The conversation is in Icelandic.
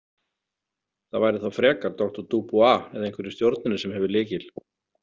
Það væri þá frekar doktor Dubois eða einhver í stjórninni sem hefur lykil.